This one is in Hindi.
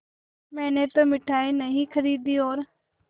मैंने तो मिठाई नहीं खरीदी और